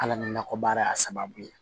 Ala ni nakɔ baara sababu ye